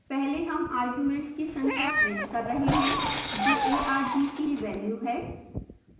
पहले हम arguments की संख्या प्रिंट कर रहे हैं जो argv की value है